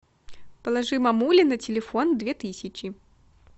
положи мамуле на телефон две тысячи